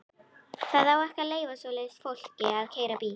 Það á ekki að leyfa svoleiðis fólki að keyra bíl!